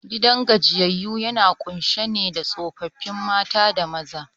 Gidan gajiyyayu yana kunshe da tsofaffi mata da maza